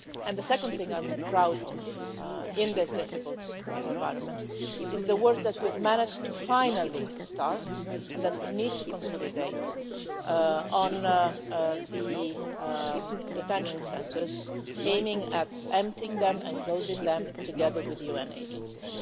The second thing I'm proud of in this difficult environment is the work that we've managed to finally start, and that we need to consolidate, on the detention centres, aiming to empty them and close them together with the UN agencies.